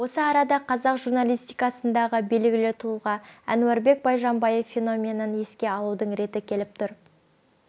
осы арада қазақ радиожурналистикасындағы белгілі тұлға әнуарбек байжанбаев феноменін еске алудың реті келіп тұр